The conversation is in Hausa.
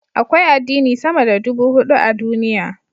Akwai addini sama da ɗubu hudu a duniya.